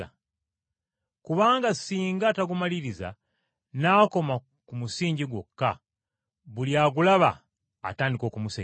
Kubanga singa tagumaliriza n’akoma ku musingi gwokka, buli agulaba atandika okumusekerera,